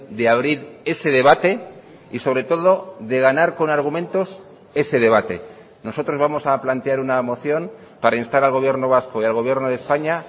de abrir ese debate y sobre todo de ganar con argumentos ese debate nosotros vamos a plantear una moción para instar al gobierno vasco y al gobierno de españa